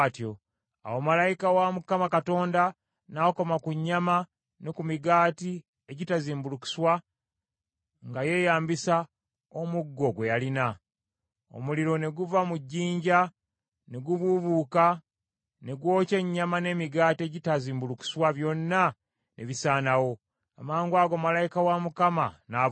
Awo malayika wa Mukama Katonda n’akoma ku nnyama ne ku migaati egitazimbulukuswa nga yeeyambisa omuggo gwe yalina. Omuliro ne guva mu jjinja ne gububuuka ne gwokya ennyama n’emigaati egitazimbulukuswa byonna ne bisaanawo. Amangwago malayika wa Mukama n’abulawo.